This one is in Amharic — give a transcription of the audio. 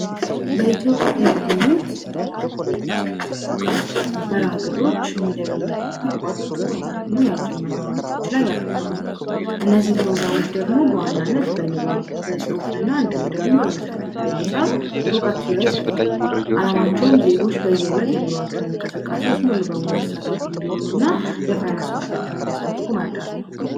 በኢትዮጵያ የሚገኙ የተለያዩ መርሀግብሮች የተለያዩ ትምህርት ያቋረጡ ተማሪዎች ላይ ያተኮረ ፕሮግራሞች ናቸው እነዚህ ደግሞ በዋናነት በንባብ በፅሁፍ እና እንዲሁም ደግሞ በመሠረታዊ ሂሳብ ስልጠናዎችን ይሰጣሉ አለማችን ላይ ዜጎች በየዕለት ኑሯቸው እንቅስቃሴ በሙሉ ሰላም እንዲሆኑና የፋይናንስ እውቀታቸውን እንዲያሳድጉ መርዳት ነው።